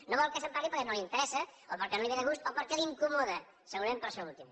no vol que se’n parli perquè no li interessa o perquè no li ve de gust o perquè l’incomoda segurament per això últim